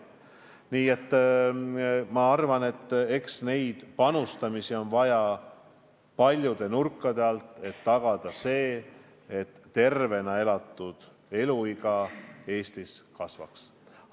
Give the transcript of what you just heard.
Nii et ma arvan, et panustada on vaja paljude nurkade alt, et tagada see, et tervena elatud aastate arv Eestis kasvaks.